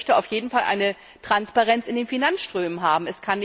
Ich möchte auf jeden Fall eine Transparenz in den Finanzströmen haben.